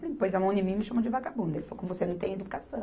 Ele pôs a mão em mim e me chamou de vagabunda, ele falou, com você não tem educação.